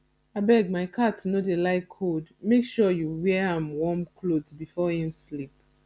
abeg my cat no dey like cold make sure you wear an warm cloth before im sleep